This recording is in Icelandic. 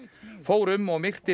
fór um og myrti